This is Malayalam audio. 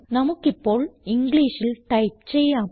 നമുക്കിപ്പോൾ ഇംഗ്ലീഷിൽ ടൈപ്പ് ചെയ്യാം